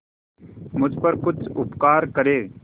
मुझ पर कुछ उपकार करें